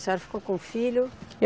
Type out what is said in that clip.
A senhora ficou com o filho?